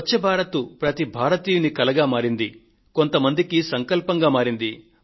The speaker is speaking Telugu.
స్వచ్ఛ భారత్ ప్రతి భారతీయుడి కలగా కొంతమందికి సంకల్పంగా మారింది